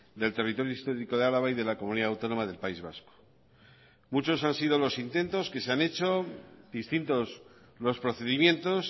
del territorio histórico de álava y de la comunidad autónoma del país vasco muchos han sido los intentos que se han hecho distintos los procedimientos